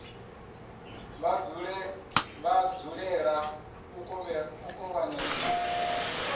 vha dzulela u kovhana zwithu